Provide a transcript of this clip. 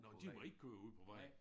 Nåh de må ikke køre ude på vejen